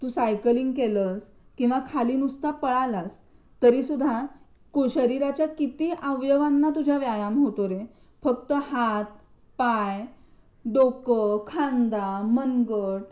तू cycling केलंस किंवा नुसता खाली पळालास तरी सुद्धा तुझ्या शरीराचे किती अवयवांना तुझ्या व्यायाम होतो रे फक्त हात पाय डोकं खांदा मनगट